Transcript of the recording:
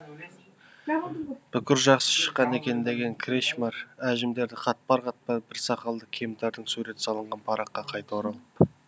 бүкір жақсы шыққан екен деген кречмар әжімдері қатпар қатпар бір сақалды кемтардың суреті салынған параққа қайта оралып